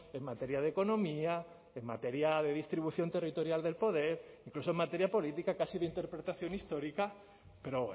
en materia de economía en materia de distribución territorial del poder incluso en materia política casi de interpretación histórica pero